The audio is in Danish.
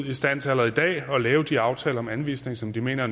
i stand til at lave de aftaler om anvisning som de mener